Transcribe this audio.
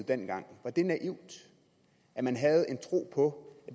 dengang var det naivt at man havde en tro på